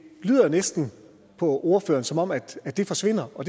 lyder jo næsten på ordføreren som om at det forsvinder og